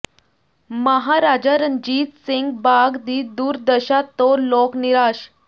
ਮਹਾਰਾਜਾ ਰਣਜੀਤ ਸਿੰਘ ਬਾਗ ਦੀ ਦੁਰਦਸ਼ਾ ਤੋਂ ਲੋਕ ਨਿਰਾਸ਼